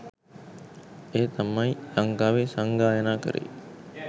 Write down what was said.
එය තමයි ලංකාවෙ සංගායනා කරල